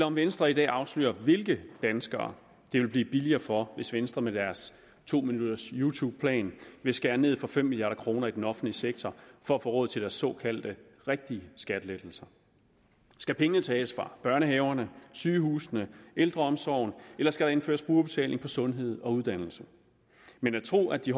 om venstre i dag afslører hvilke danskere det vil blive billigere for hvis venstre med deres to minutters youtube plan vil skære ned for fem milliard kroner i den offentlige sektor for at få råd til deres såkaldte rigtige skattelettelser skal pengene tages fra børnehaverne sygehusene og ældreomsorgen eller skal der indføres brugerbetaling på sundhed og uddannelse men at tro at de